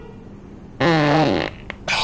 Hrafn